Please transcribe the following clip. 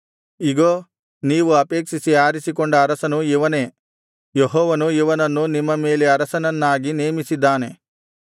ಇಗೋ ನೀವು ಅಪೇಕ್ಷಿಸಿ ಆರಿಸಿಕೊಂಡ ಅರಸನು ಇವನೇ ಯೆಹೋವನು ಇವನನ್ನು ನಿಮ್ಮ ಮೇಲೆ ಅರಸನನ್ನಾಗಿ ನೇಮಿಸಿದ್ದಾನೆ